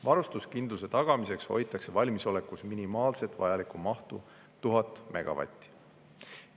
Varustuskindluse tagamiseks hoitakse valmisolekus minimaalset vajalikku mahtu 1000 megavatti.